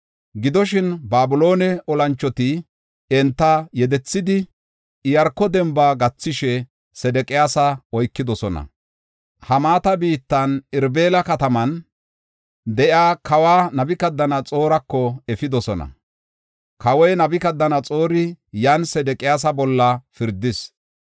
Gidoshin, Babiloone olanchoti enta yedethidi, Iyaarko demba gathishe, Sedeqiyaasa oykidosona. Hamaata biittan, Irbila kataman de7iya kawa Nabukadanaxoorako efidosona. Kawoy Nabukadanaxoori yan Sedeqiyaasa bolla pirdis.